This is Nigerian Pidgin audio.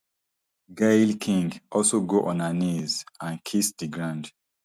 gayle king also go on her knees and kiss di ground